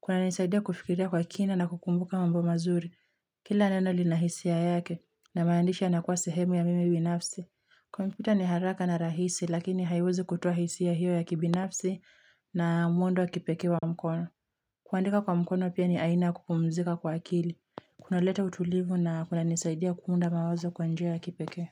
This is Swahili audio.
Kunanisaidia kufikiria kwa kina na kukumbuka mambo mazuri kila neno lina hisia yake, na maandishi yanakuwa sehemu ya mimi binafsi. Kompyuta ni haraka na rahisi, lakini haiwezi kutoa hisia hiyo ya kibinafsi na mwendo wa kipekee wa mkono. Kuandika kwa mkono pia ni aina ya kupumzika kwa akili. Kunaleta utulivu na kunanisaidia kuunda mawazo kwa njia ya kipekee.